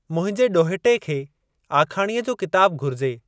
मुंहिंजे ॾुहिटे खे आखाणीअ जो किताबु घुर्जे।